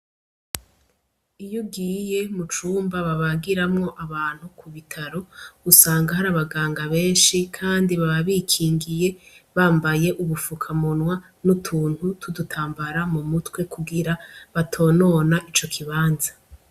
Iy'ugiye mu cumba babagiramwo abantu mu bitaro , usanga har'abaganga benshi kandi baba bikingiye bambaye ubufukamunwa n'utuntu twudutambara mu mutwe kugira batonona ico kibanza.